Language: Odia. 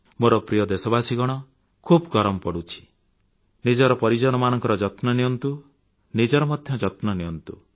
ମୋର ପ୍ରିୟ ଦେଶବାସୀଗଣ ଖୁବ୍ ଗରମ ପଡ଼ୁଛି ନିଜର ପରିଜନମାନଙ୍କର ଯତ୍ନ ନିଅନ୍ତୁ ନିଜର ମଧ୍ୟ ଯତ୍ନ ନିଅନ୍ତୁ